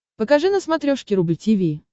покажи на смотрешке рубль ти ви